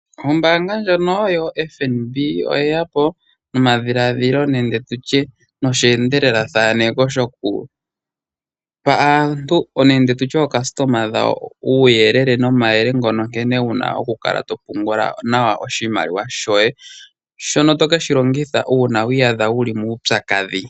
Ombaanga ndjono yo FNB yo oyeya po nomadhiladhilo nenge tutye nosheendelelathaneko shoku pa aantu nenge tutye ookasitoma dhawo uuyelele nomayele ngono nkene wuna oku kala wuna oku kala topungula nawa oshimaliwa shoye shono to keshi longitha uuna wi iyadha wuli muupyakadhi.